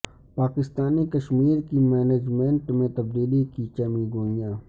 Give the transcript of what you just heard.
پاکستانی کشمیر کی مینجمنٹ میں تبدیلی کی چہ میگوئیاں